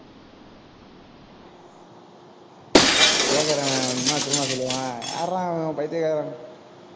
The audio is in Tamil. கேக்குறவன் என்ன தெரியுமா சொல்லுவா யார்றா இவன் பைத்தியக்காரன்